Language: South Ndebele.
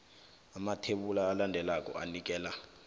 amathebula alandelako anikela